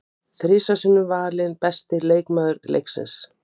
Að því búum við öll.